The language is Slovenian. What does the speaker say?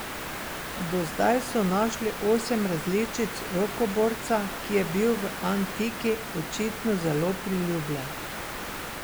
Do zdaj so našli osem različic rokoborca, ki je bil v antiki očitno zelo priljubljen.